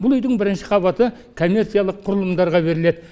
бұл үйдің бірінші қабаты коммерциялық құрылымдарға беріледі